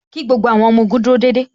Kí gbogbo àwọn ọmọ ogun dúró déédéé